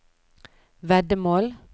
veddemål